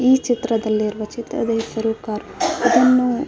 ಈ ಚಿತ್ರದಲ್ಲಿ ಇರುವ ಚಿತ್ರದ ಹೆಸರು ಕಾರ್ --